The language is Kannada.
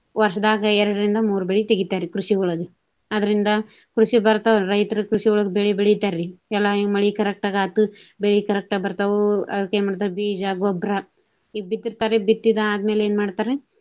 ವರ್ಷದಾಗ ಎರಡರಿಂದ ಮೂರು ಬೆಳಿ ತೆಗಿತಾರಿ ಕೃಷಿಯೊಳಗ. ಅದರಿಂದ ಕೃಷಿ ಬರ್ತಾವ್ರಿ ರೈತರ ಕೃಷಿಯೊಳಗ ಬೆಳಿ ಬೆಳಿತಾರಿ ಎಲ್ಲಾ ಈ ಮಳಿ correct ಆಗಿ ಆತು ಬೆಳಿ correct ಆಗಿ ಬರ್ತಾವು. ಅದಕ್ಕ ಏನ ಮಾಡ್ತಾರು ಬೀಜ, ಗೊಬ್ರಾ. ಈಗ ಬಿತ್ತಿರ್ತಾರಿ ಬಿತ್ತಿದ ಆದಮ್ಯಾಲ ಏನ ಮಾಡ್ತಾರಿ.